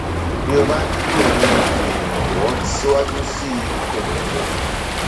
bí o bá nílò um ìrànwọ síwájú síi o lè béèrè